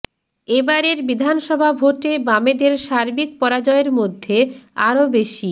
এ বারের বিধানসভা ভোটে বামেদের সার্বিক পরাজয়ের মধ্যে আরও বেশি